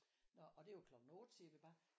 Nå og det var klokkken 8 siger vi bare